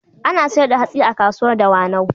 Ana sayar da hatsi a kasuwar Dawanau.